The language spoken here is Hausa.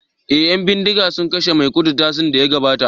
eh yan bindiga sun kashe maikudu satin daya gabata